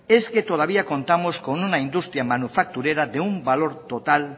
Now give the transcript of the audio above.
es que todavía contamos con una industria manufacturera de un valor total